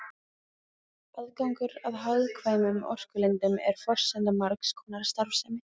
Aðgangur að hagkvæmum orkulindum er forsenda margs konar starfsemi.